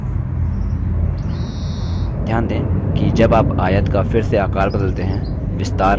ध्यान दें कि जब आप आयत का फिर से आकर बदलते हैं विस्तार बदल जाता है